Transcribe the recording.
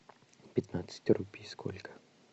пятнадцать рупий сколько